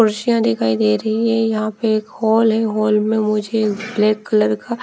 कुर्सियाँ दिखाई दे रही है यहां पे एक हॉल है हॉल में मुझे ब्लैक कलर का--